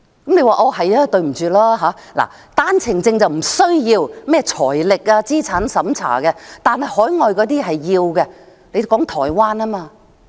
但是，對不起，單程證申請人不需要財力和資產審查，海外人士的才需要。